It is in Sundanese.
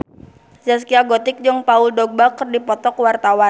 Zaskia Gotik jeung Paul Dogba keur dipoto ku wartawan